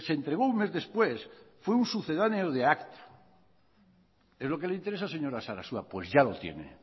se entregó un mes después fue un sucedáneo de acta es lo que le interesa señora sarasua pues ya lo tiene